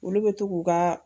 Olu bɛ to k'u ka